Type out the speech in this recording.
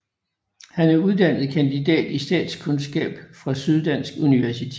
Han er uddannet kandidat i statskundskab fra Syddansk Universitet